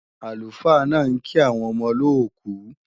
Àlùfáà náà ń kí àwọn ọmọ olóòkú